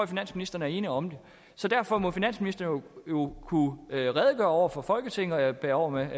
finansministeren er ene om det så derfor må finansministeren jo kunne redegøre over for folketinget og jeg bærer over med